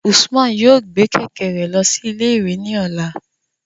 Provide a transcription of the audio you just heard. Usman yoo gbe kẹ̀kẹ́ rẹ lọ si ile-iwe ni ọla